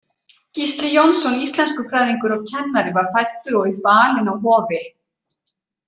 Gísli Jónsson íslenskufræðingur og kennari var fæddur og upp alinn á Hofi.